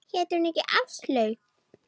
Hét hún ekki Áslaug?